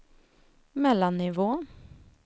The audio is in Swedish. mellannivå